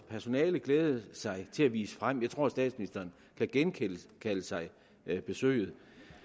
personalet glædede sig til at vise frem jeg tror at statsministeren kan genkalde sig besøget